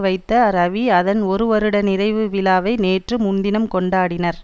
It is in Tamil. வைத்த ரவி அதன் ஒரு வருட நிறைவு விழாவை நேற்று முன்தினம் கொண்டாடினர்